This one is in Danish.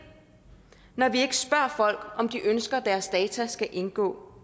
når vi ikke spørger folk om de ønsker at deres data skal indgå